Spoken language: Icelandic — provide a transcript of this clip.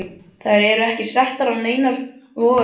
Þær eru ekki settar á neinar vogarskálar.